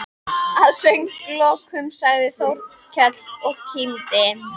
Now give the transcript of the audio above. Að sögulokum sagði Þórkell og kímdi